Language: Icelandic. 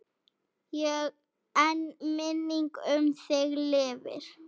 En minning um þig lifir.